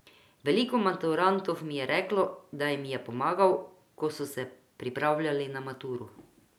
Veliko maturantov mi je reklo, da jim je pomagal, ko so se pripravljali na maturo.